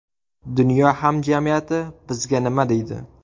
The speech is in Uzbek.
Dunyo hamjamiyati bizga nima deydi?